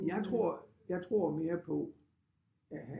Jeg tror jeg tror mere på at han